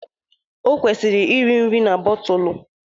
Ọ kwụsịrị iri nri na bọtụlụ.